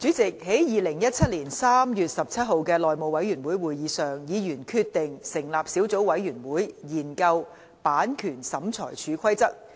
主席，在2017年3月17日的內務委員會會議上，議員決定成立小組委員會，研究《版權審裁處規則》。